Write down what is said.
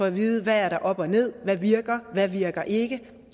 at vide hvad der er op og ned hvad virker hvad virker ikke